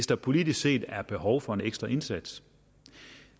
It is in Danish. der politisk set er behov for en ekstra indsats